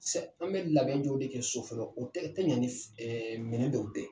Sɛ an be labɛn jɔw de kɛ so fɔlɔ o tɛ ɲɛ ni minɛn dɔw tɛ